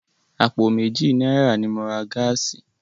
Àpò méjì náírà ni mo ra gáàsì.